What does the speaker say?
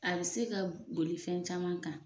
A bɛ se ka boli fɛn caman kan.